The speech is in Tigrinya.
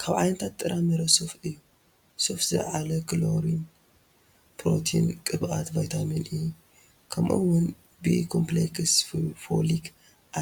ካብ ዓይነታት ጥረ ምረ ሱፍ እዩ፡፡ ሱፍ ዝላዓለ ካሎሪን፣ ፕሮቲን፣ ቅብኣት፣ ቫይታሚን ኢ ከምኡ ውን ቢ-ኮምፕሌክስ፣ ፎሊክ